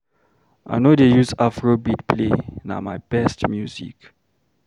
I no dey use Afrobeat play, na my best music.